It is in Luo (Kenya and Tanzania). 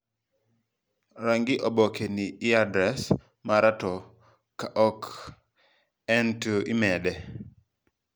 Rang'i oboke ni e adres mara to ka ok en to imede.